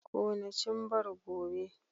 Kona cimbar gobe!